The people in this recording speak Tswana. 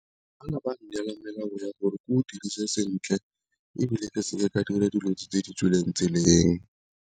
dirise sentle ebile ke seke ka dira dilo tse di tswileng tseleng.